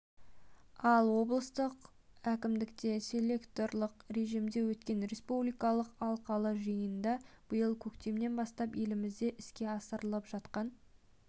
ал облыстық әкімдікте селекторлық режимде өткен республикалық алқалы жиында биыл көктемнен бастап елімізде іске асырылып жатқан